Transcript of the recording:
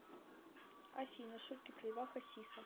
афина шутки про льва хасиса